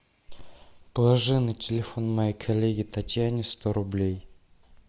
положи на телефон моей коллеге татьяне сто рублей